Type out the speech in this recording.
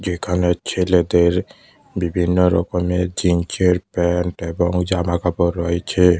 এখানে ছেলেদের বিভিন্ন রকমের জিন্সের প্যান্ট এবং জামাকাপড় রয়েছে।